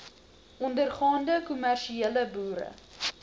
ondergaande kommersiële boere